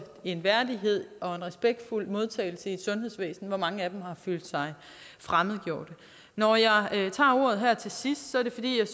og en værdighed og en respektfuld modtagelse i et sundhedsvæsen hvor mange af dem har følt sig fremmedgjort når jeg tager ordet her til sidst er det fordi